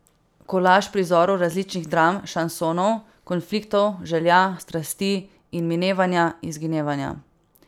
Kolaž prizorov različnih dram, šansonov, konfliktov, želja, strasti in minevanja, izginevanja.